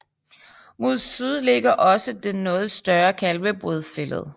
Mod syd ligger også den noget større Kalvebod Fælled